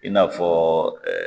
I n'a fɔ